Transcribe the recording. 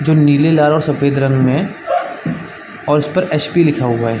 जो नीले लाल और सफेद रंग मे और उस पर एच पी लिखा हुआ हैं।